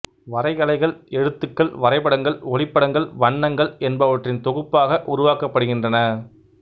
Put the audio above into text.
வரைகலைகள் எழுத்துக்கள் வரைபடங்கள் ஒளிப்படங்கள் வண்ணங்கள் என்பவற்றின் தொகுப்பாக உருவாக்கப்படுகின்றன